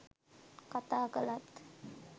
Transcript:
කතා කළත්